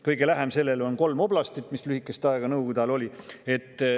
Kõige lähem sellele on kolm oblastit, mis lühikest aega nõukogude ajal oli.